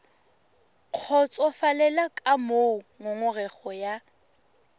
kgotsofalele ka moo ngongorego ya